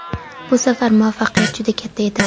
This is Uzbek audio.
Bu safar muvaffaqiyat juda katta edi.